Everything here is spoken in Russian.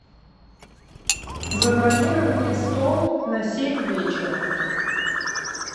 забронируй мне стол на семь вечера